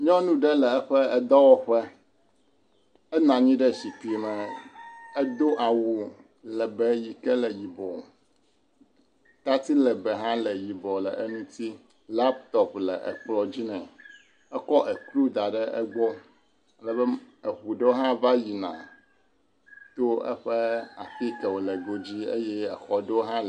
Nyɔnu ɖe le eƒe edɔwɔƒe. Enɔ anyi ɖe zikpi me. Edo awu legbɛɛ yi ke le yibɔ tati legbɛɛ hã le yibɔɔ le eŋuti. Laptopi le ekplɔ̃ dzi nɛ. Ekɔ ekplu da ɖe egbɔ. Le be eŋu aɖewo hã va yina to eƒe afi yi ke wòle godzi eye exɔ ɖewo hã le.